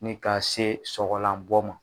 Ni ka se sɔgɔlan bɔ ma.